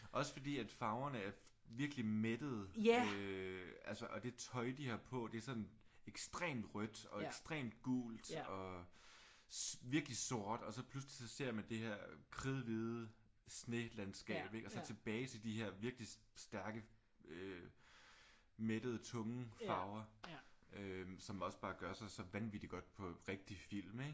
Også fordi at farverne er virkelig mættede øh altså og det tøj de har på er ekstremt rødt og ekstremt gult og virkelig sort. Og så pludselig så ser man det her kridhvide snelandskab ik? Og så tilbage til de her virkelig stærke mættede tunge farver øh som også bare gør sig så vanvittigt godt på rigtig film ik?